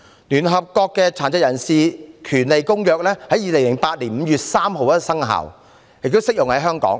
聯合國《殘疾人權利公約》在2008年5月3日生效，並適用於香港。